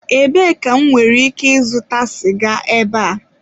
Ebee ka m nwere ike ịzụta siga ebe a?